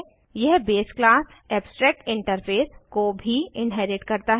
यह base class abstract interface को भी इन्हेरिट करता है